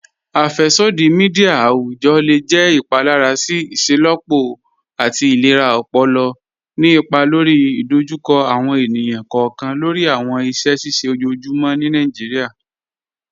Afẹ́ṣọdí míḍíà awùjọ́ le jẹ́ ìpálàrà sí ìṣẹ́lọ́pọ̀ àti ìlẹ̀rà ọ̀pọ̀lọ̀, ní ìpà lórí ìdòjúkọ̀ àwọn ènìyàn kọọkan lórí àwọn ìṣẹ̀ ṣíṣẹ̀ ọjọ́ọ̀jùmọ́ ní Nàìjíríà.